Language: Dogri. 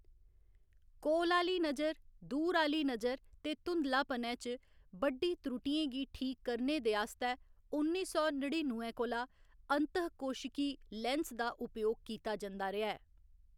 कोल आह्‌ली नजर, दूर आह्‌ली नजर ते धुंधलापनै च बड्डी त्रुटियें गी ठीक करने दे आस्तै उन्नी सौ नड़िनुए कोला अंतःकोशिकी लैंस्स दा उपयोग कीता जंदा रेहा ऐ।